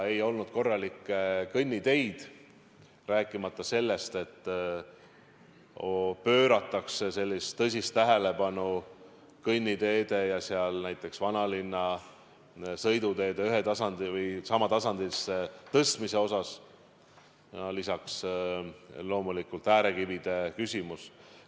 Ei olnud korralikke kõnniteid, rääkimata sellest, et oleks pööratud tõsist tähelepanu kõnniteede ja näiteks vanalinna sõiduteede ühele tasandile tõstmisele, lisaks loomulikult äärekivide küsimus.